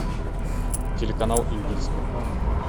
телеканал индийское